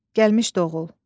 Gəlmişdi, oğul.